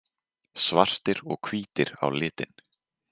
Svartir og hvítir á litinn.